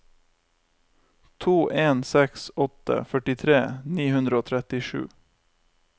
to en seks åtte førtitre ni hundre og trettisju